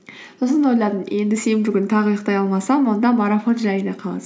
сосын ойладым енді сенбі күні тағы ұйықтай алмасам онда марафон жайына қалады